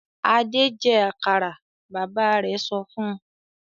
"Adé jẹ àkàrà!" Bàbá rẹ̀ sọ fún un.